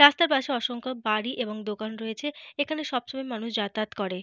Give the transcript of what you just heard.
রাস্তার পাশে অসংখ্য বাড়ি এবং দোকান রয়েছে। এখানে সবসময় মানুষ যাতায়াত করেন।